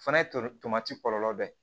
Fana ye tomati kɔlɔlɔ dɔ ye